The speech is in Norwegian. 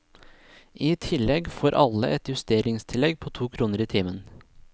I tillegg får alle et justeringstillegg på to kroner i timen.